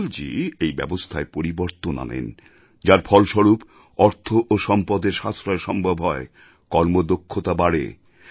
অটলজী এই ব্যবস্থায় পরিবর্তন আনেন যার ফলস্বরূপ অর্থ ও সম্পদের সাশ্রয় সম্ভব হয় কর্মদক্ষতা বাড়ে